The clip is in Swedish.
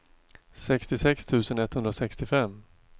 sextiosex tusen etthundrasextiofem